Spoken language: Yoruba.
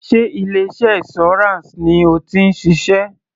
Sé ilé iṣẹ́ insurance ni o ti ń ṣiṣẹ́?